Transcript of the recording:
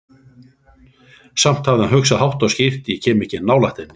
Samt hafði hann hugsað, hátt og skýrt: Ég kem ekki nálægt henni.